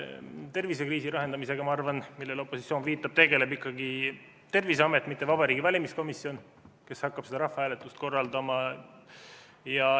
Tervisekriisi lahendamisega, ma arvan, millele opositsioon viitab, tegeleb ikkagi Terviseamet, mitte Vabariigi Valimiskomisjon, kes hakkab seda rahvahääletust korraldama.